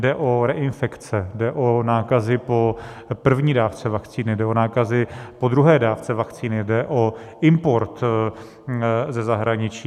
Jde o reinfekce, jde o nákazy po první dávce vakcíny, jde o nákazy po druhé dávce vakcíny, jde o import ze zahraničí.